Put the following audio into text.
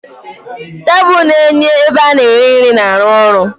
Tebụl na-enye ebe ana eri nri na ruo ọrụ.